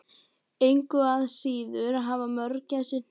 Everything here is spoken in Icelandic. Engu að síður hafa mörgæsir hné.